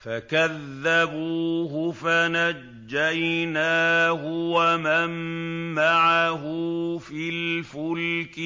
فَكَذَّبُوهُ فَنَجَّيْنَاهُ وَمَن مَّعَهُ فِي الْفُلْكِ